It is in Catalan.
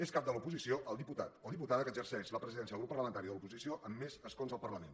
és cap de l’oposició el diputat o diputada que exerceix la presidència del grup parlamentari de l’oposició amb més escons al parlament